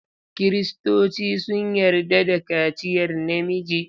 Kiristoci sun yarda da kaciyar namiji.